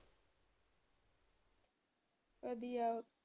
ਵਧੀਆਂ।